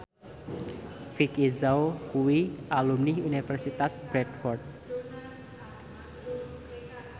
Vicki Zao kuwi alumni Universitas Bradford